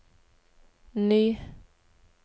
ny